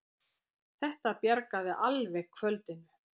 Þetta bjargaði alveg kvöldinu!